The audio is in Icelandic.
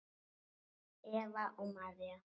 Eva og María.